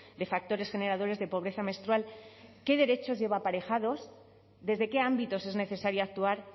de factores generadores de pobreza menstrual qué derechos lleva aparejados desde qué ámbitos es necesario actuar